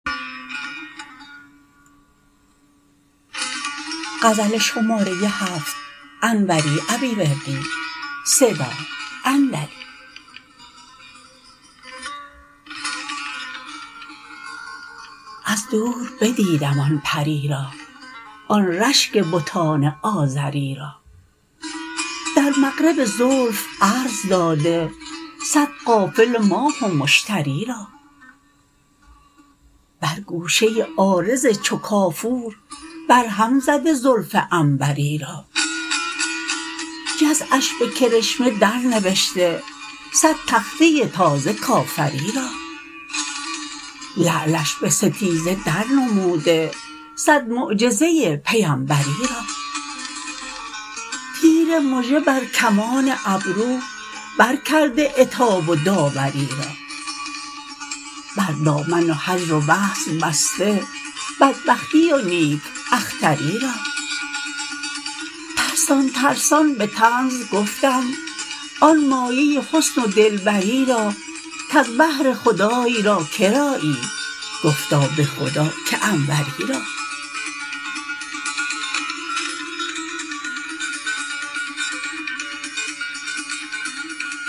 از دور بدیدم آن پری را آن رشک بتان آزری را در مغرب زلف عرض داده صد قافله ماه و مشتری را بر گوشه عارض چو کافور برهم زده زلف عنبری را جزعش به کرشمه درنوشته صد تخته تازه کافری را لعلش به ستیزه در نموده صد معجزه پیمبری را تیر مژه بر کمان ابرو برکرده عتاب و داوری را بر دامن هجر و وصل بسته بدبختی و نیک اختری را ترسان ترسان به طنز گفتم آن مایه حسن و دلبری را کز بهر خدای را کرایی گفتا به خدا که انوری را